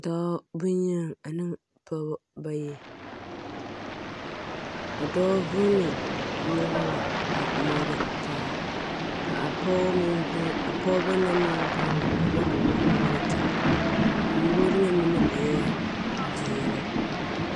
Dɔɔ boŋyeni ane pɔgeba bayi. A dɔɔ vuuni nyɔge la a moore taa. Ka a pɔge meŋ v… a pɔgeba na meŋ vuuni a nyɔge a moore taa. A moore ŋa mine eɛ zeere.